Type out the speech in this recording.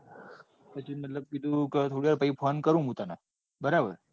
પછી મતલબ કીધું કે થોડીવાર phone કરું પછી મુ તને બરાબર કે?